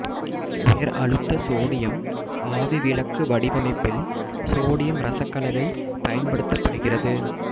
உயர் அழுத்த சோடியம் ஆவிவிளக்கு வடிவமைப்பில் சோடியம் இரசக்கலவை பயன்படுத்தப்படுகிறது